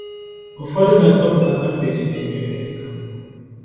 Ụfọdụ na-achọpụta na mgbede na-enye ohere ka mma.